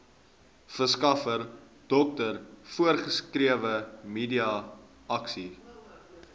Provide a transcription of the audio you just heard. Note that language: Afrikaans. verskaffer dokter voorgeskrewemedikasie